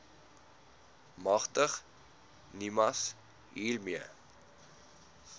magtig nimas hiermee